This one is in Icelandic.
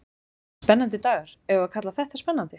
Spennandi dagar, eigum við að kalla þetta spennandi?